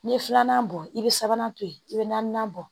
N'i ye filanan bɔ i bɛ sabanan to yen i bɛ naaninan bɔ